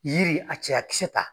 Yiri a cɛyakisɛ ta.